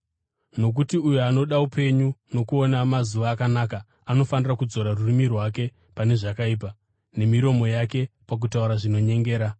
Nokuti, “Uyo anoda upenyu kuti agoona mazuva akanaka anofanira kudzora rurimi rwake pane zvakaipa, nemiromo yake pakutaura zvinonyengera.